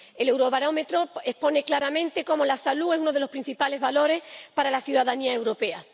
El Eurobarómetro expone claramente cómo la salud es uno de los principales valores para la ciudadanía europea.